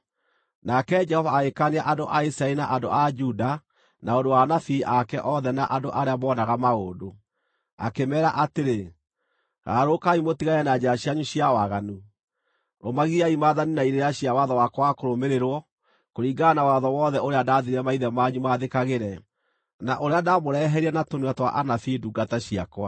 Nake Jehova agĩkaania andũ a Isiraeli na andũ a Juda na ũndũ wa anabii ake othe na andũ arĩa moonaga maũndũ, akĩmeera atĩrĩ: “Garũrũkai mũtigane na njĩra cianyu cia waganu. Rũmagiai maathani na irĩra cia watho wakwa wa kũrũmĩrĩrwo, kũringana na watho wothe ũrĩa ndaathire maithe manyu maathĩkagĩre, na ũrĩa ndaamũreheire na tũnua twa anabii ndungata ciakwa.”